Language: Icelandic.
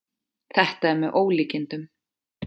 Þetta er með ólíkindum